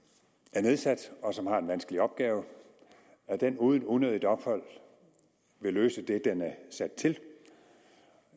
er nedsat og som har en vanskelig opgave uden unødigt ophold vil løse det den er sat til